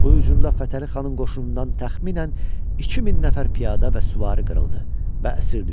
Bu hücumda Fətəli xanın qoşunundan təxminən 2000 nəfər piyada və süvari qırıldı və əsir düşdü.